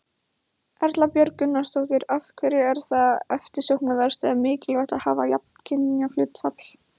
Erla Björg Gunnarsdóttir: Af hverju er það eftirsóknarvert eða mikilvægt að hafa jafnt kynjahlutfall?